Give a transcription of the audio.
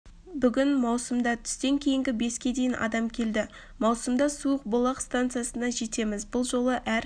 бүгін маусымда түстен кейінгі беске дейін адам келді маусымда суықбулақ станциясына жетеміз бұл жолы әр